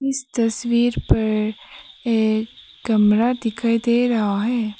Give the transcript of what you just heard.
इस तस्वीर पर एक कमरा दिखाई दे रहा है।